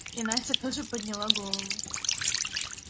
и настя тоже подняла голову